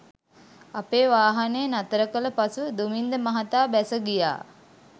අපේ වාහනය නතරකළ පසු දුමින්ද මහතා බැස ගියා.